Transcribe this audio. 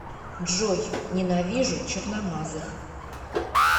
джой ненавижу черномазых